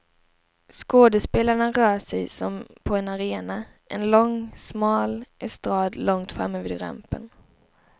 Skådespelarna rör sig som på en arena, en långsmal estrad långt framme vid rampen.